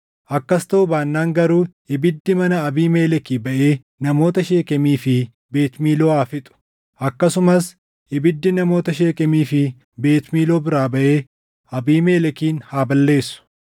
Akkas taʼuu baannaan garuu ibiddi mana Abiimelekii baʼee namoota Sheekemii fi Beet Miiloo haa fixu; akkasumas ibiddi namoota Sheekemii fi Beet Miiloo biraa baʼee Abiimelekin haa balleessu!”